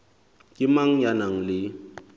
ke mang ya nang le